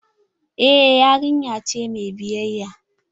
Eh yarinya ce mai biyayya.